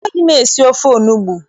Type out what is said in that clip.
Amaghị m esi ofe onugbu.